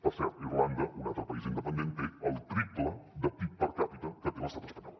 per cert irlanda un altre país independent té el triple de pib per capita que té l’estat espanyol